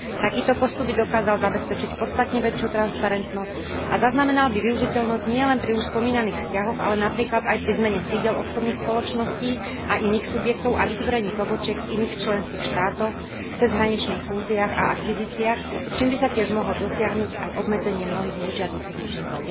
Takýto postup by dokázal zabezpečiť podstatne väčšiu transparentnosť a zaznamenal by využiteľnosť nielen pri už spomínaných vzťahoch, ale napríklad aj pri zmene sídel obchodných spoločností a iných subjektov a vytvorení pobočiek v iných členských štátoch, cezhraničných fúziách a akvizíciách, čím by sa tiež mohlo dosiahnuť aj obmedzenie mnohých nežiaducich účinkov.